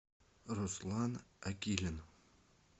руслан акилин